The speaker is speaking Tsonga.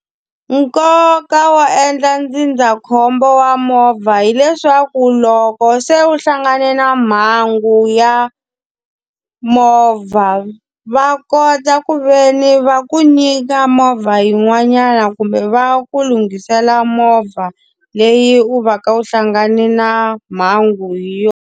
Nkoka wa endla ndzindzakhombo wa movha hileswaku loko se u hlangane na mhangu ya movha, va kota ku ve ni va ku nyika movha yin'wanyana kumbe va ku lunghisela movha leyi u va ka u hlangane na mhangu hi yona.